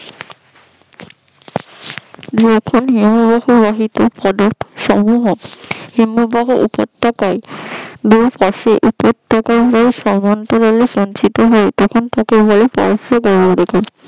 যখন হিমবাহ বাহিত পরে সমূহ হিমবাহ উপ্রতাকায় দুই পাশের উপ্রতাকায় হয়ে সমান্তরালে সঞ্চিত হয় তখন তাকে বলে